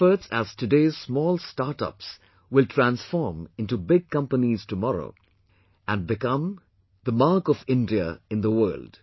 Your efforts as today's small startups will transform into big companies tomorrow and become mark of India in the world